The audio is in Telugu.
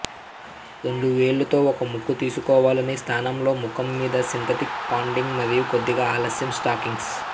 రెండు వేళ్లు తో ఒక ముక్కు తీసుకోవాలని స్థానంలో ముఖం మీద సింథటిక్ పాడింగ్ మరియు కొద్దిగా ఆలస్యం స్టాకింగ్స్